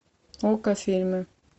окко фильмы